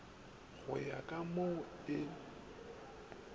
go ya ka mo e